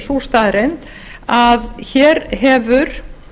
sú staðreynd að hér hefur